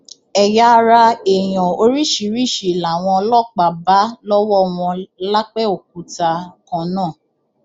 ẹyà ara èèyàn oríṣiríṣiì làwọn ọlọpàá bá lọwọ wọn lápẹòkúta kan náà